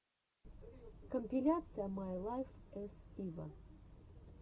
компиляция май лайф эс ива